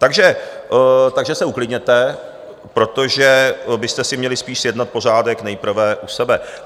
Takže se uklidněte, protože byste si měli spíš sjednat pořádek nejprve u sebe.